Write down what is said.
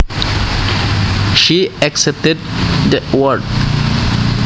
She accepted the award